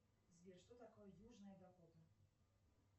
сбер что такое южная дакота